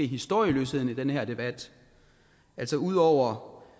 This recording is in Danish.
historieløsheden i den her debat altså ud over